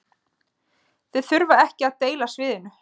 Þeir þurfa ekki að deila sviðinu